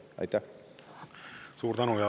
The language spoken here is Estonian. Suur tänu!